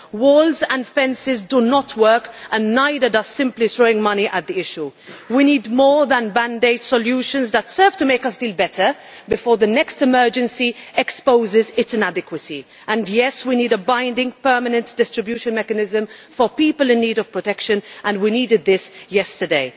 Walls and fences do not work and neither does simply throwing money at the issue. We need more than band aid solutions that serve to make us feel better before the next emergency exposes its inadequacy, and yes, we need a binding permanent distribution mechanism for people in need of protection and we needed this yesterday.